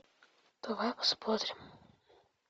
давай посмотрим